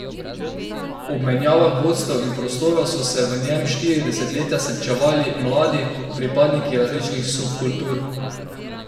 Ob menjavah vodstev in prostora so se v njem štiri desetletja srečevali mladi, pripadniki različnih subkultur.